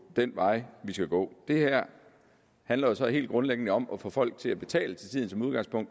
den vej vi skal gå det her handler jo så helt grundlæggende om at få folk til at betale til tiden